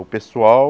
O pessoal...